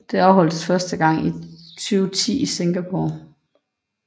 Det afholdtes første gang i 2010 i Singapore